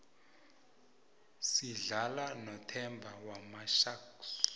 sidlala nothemba wamasharks